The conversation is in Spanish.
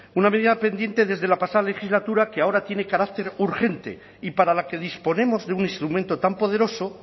una medida pendiente desde la pasada legislatura que ahora tiene carácter urgente y para la que disponemos de un instrumento tan poderoso